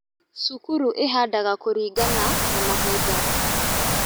Cukuru ĩhandaga kũlingana na mahinda